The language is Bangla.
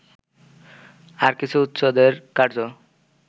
আর কিছু উচ্চদরের কার্য্য